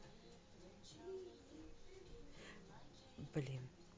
блин